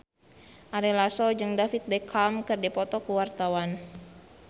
Ari Lasso jeung David Beckham keur dipoto ku wartawan